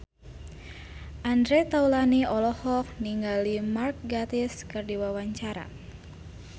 Andre Taulany olohok ningali Mark Gatiss keur diwawancara